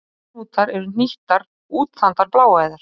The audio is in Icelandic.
Æðahnútar eru hnýttar, útþandar bláæðar.